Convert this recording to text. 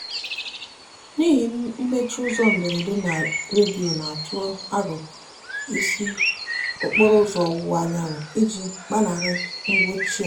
n'ihi mmechi ụzọ mberede a redio na-atụ aro ị sị okporo ụzọ ọwụwa anyanwụ i ji gbanarị mkpọchị a.